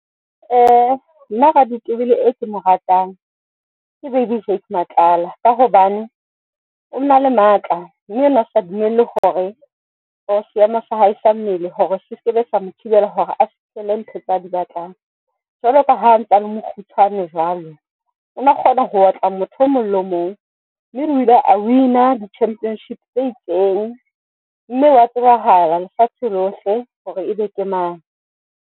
Nna raditebele e kemo ratang ke Baby Jake Matlala ka hobane o na le matla mme o ne a sa dumelle hore o seemo sa hae sa mmele hore se seke be sa mo thibela hore a fihlelle dintho tsa di batlang. Jwalo ka ha a ntsa le mokgutshwane jwalo, o na kgona ho otla motho o mong le mong. Mme o ile a win-a di-championship tse itseng. Mme o ya tsebahala lefatshe lohle hore e be ke mang.